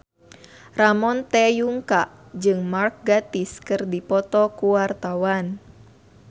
Ramon T. Yungka jeung Mark Gatiss keur dipoto ku wartawan